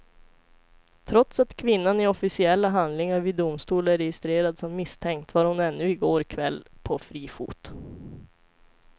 Trots att kvinnan i officiella handlingar vid domstol är registrerad som misstänkt var hon ännu i går kväll på fri fot.